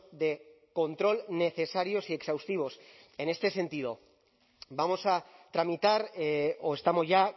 de control necesarios y exhaustivos en este sentido vamos a tramitar o estamos ya